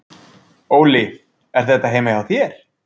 Óli: Er þetta heima hjá þér?